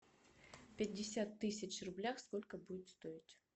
пятьдесят тысяч в рублях сколько будет стоить